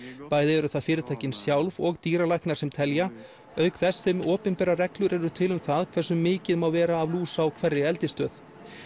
bæði eru það fyrirtækin sjálf og dýralæknar sem telja auk þess sem opinberar reglur eru til um það hversu mikið má vera af lús á hverri eldisstöð